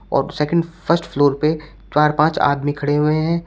और second first floor पे चार पांच आदमी खड़े हुए हैं।